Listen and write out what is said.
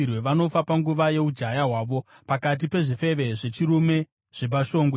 Vanofa panguva yeujaya hwavo, pakati pezvifeve zvechirume zvepashongwe.